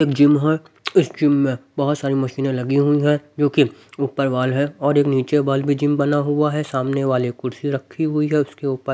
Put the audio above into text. एक जिम है इस जिम में बहोत सारी मशीने लगी हुई है जोकि ऊपर वॉल है और एक नीचे वॉल भी जिम बना हुआ है सामने वाले कुर्सी रखी हुई है उसके ऊपर--